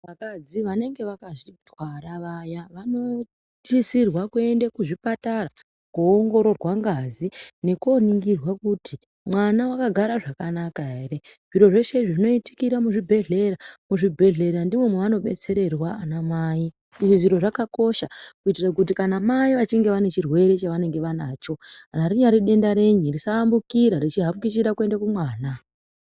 Vakadzi vanenge vakazvitwara vayaa vanosisirwa kuenda kuzvipatara kuongororwa ngazi nekuoningirwa kuti mwana wakagara zvakanaka ere. Zviro zveshe izvi zvinoitikira muzvibhedhlera. Muzvibhendlera ndimwo mwavanobetsererwa anamai. Izvi zviro zvakakosha kuitira kuti kana mai vachinge vane chirwere chavanacho kana rinyari denda rei risaambukira richihakichira kuenda kumwana.